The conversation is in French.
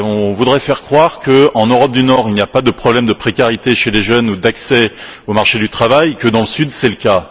On voudrait faire croire qu'en Europe du Nord il n'y a pas de problème de précarité chez les jeunes ou d'accès au marché du travail, alors que dans le Sud c'est le cas.